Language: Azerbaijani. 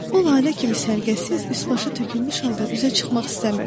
O lalə kimi sərgəsiz, üsbaxı tökülmüş halda üzə çıxmaq istəmirdi.